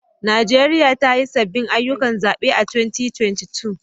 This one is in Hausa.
Najeriya ta yi sabbin ayyukan zabe a 2022